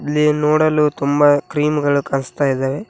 ಇಲ್ಲಿ ನೋಡಲು ತುಂಬ ಕ್ರೀಮ್ ಗಳು ಕಾಣಿಸ್ತಾ ಇದಾವೆ.